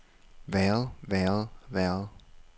været været været